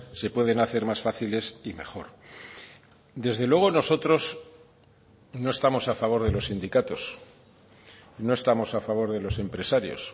se pueden hacer más fáciles y mejor desde luego nosotros no estamos a favor de los sindicatos no estamos a favor de los empresarios